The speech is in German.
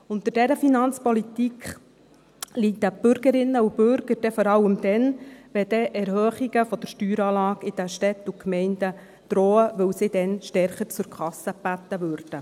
Unter dieser Finanzpolitik leiden die Bürgerinnen und Bürger vor allem dann, wenn Erhöhungen der Steueranlage in den Städten und Gemeinden drohen, weil sie dann stärker zur Kasse gebeten würden.